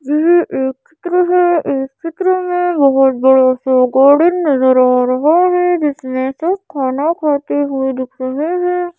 यह एक चित्र है। एक चित्र में बहोत बड़ा सा गार्डन नजर आ रहा है। जिसमें सब खाना खाते हुए दिख रहे है।